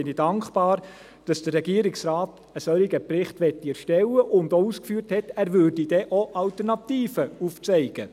Deshalb bin ich dankbar, dass der Regierungsrat einen solchen Bericht erstellen möchte und auch ausgeführt hat, er würde dann auch Alternativen aufzeigen.